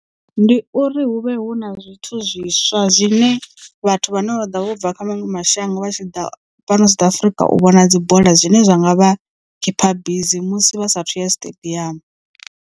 Ndi uri hu vhe hu na zwithu zwiswa zwine vhathu vha no ḓo vha vho bva kha maṅwe mashango vha tshiḓa fhano South Africa u vhona dzi bola zwine zwa nga vha keeper bisi musi vha saathu ya stadium.